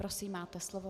Prosím, máte slovo.